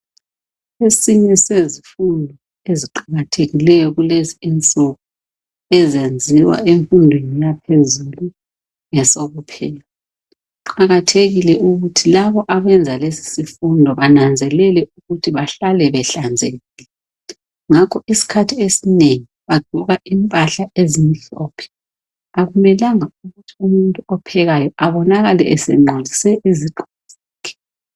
Esinye sezifundo eziqakathekileyo kulezi insuku ezenziwa emfundweni yaphezulu ngesokupheka. Kuqakathekile ukuthi labo abenza lesi sifundo benanzelele ukuthi bahlale behlanzekile. Ngakho isikhathi esinengi bagqoka impahla ezimhlophe akumelanga ukuthi umuntu ophekayo abonakale esengcolise izigqoko zakhe.